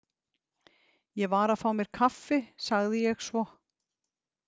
Ég var að fá mér kaffi, sagði ég svo.